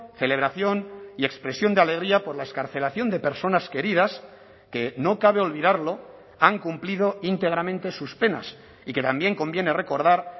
celebración y expresión de alegría por la excarcelación de personas queridas que no cabe olvidarlo han cumplido íntegramente sus penas y que también conviene recordar